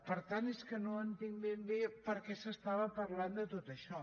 per tant és que no entenc ben bé per què s’estava parlant de tot això